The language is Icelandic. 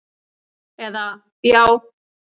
eða Já!